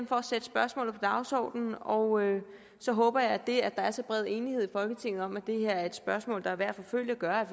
for at sætte spørgsmålet på dagsordenen og så håber jeg at det at der er så bred enighed i folketinget om at det her er et spørgsmål der er værd at forfølge gør at